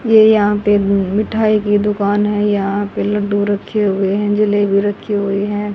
ये यहां पर मिठाई की दुकान है। यहां पर लड्डू रखे हुए है जलेबी रखी हुई है।